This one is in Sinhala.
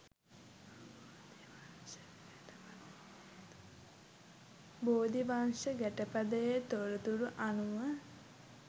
බෝධිවංශ ගැටපදයේ තොරතුරු අනුව